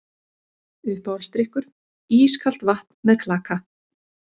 Uppáhaldsdrykkur: ískalt vatn með klaka